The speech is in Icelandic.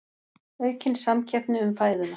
Aukin samkeppni um fæðuna